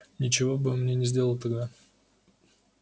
ничего бы он мне не сделал тогда